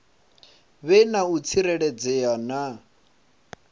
vhe na u tsireledzea na